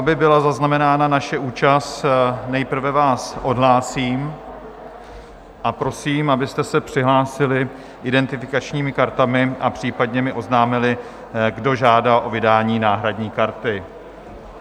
Aby byla zaznamenána naše účast, nejprve vás odhlásím a prosím, abyste se přihlásili identifikačními kartami a případně mi oznámili, kdo žádá o vydání náhradní karty.